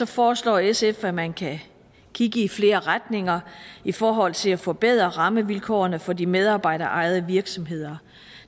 foreslår sf at man kan kigge i flere retninger i forhold til at forbedre rammevilkårene for de medarbejderejede virksomheder